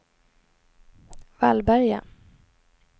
Vallberga